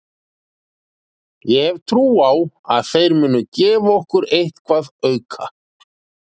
Ég hef trú á að þeir muni gefa okkur eitthvað auka.